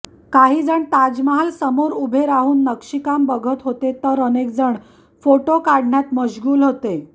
काहीजण ताजमहाल समोर उभे राहून नक्षीकाम बघत होते तर अनेकजण फोटो काढण्यात मश्गूल होते